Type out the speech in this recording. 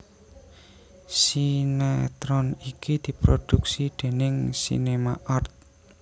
Sinéetron iki diproduksi déning SinemArt